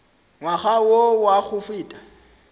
ngwaga wo wa go feta